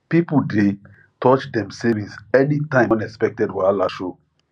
people dey touch dem savings any time unexpected wahala show